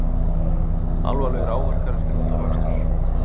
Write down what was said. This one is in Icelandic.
Alvarlegir áverkar eftir útafakstur